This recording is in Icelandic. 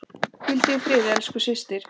Hvíldu í friði elsku systir.